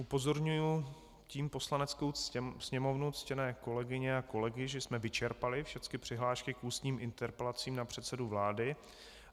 Upozorňuji tím Poslaneckou sněmovnu, ctěné kolegyně a kolegy, že jsme vyčerpali všecky přihlášky k ústním interpelacím na předsedu vlády.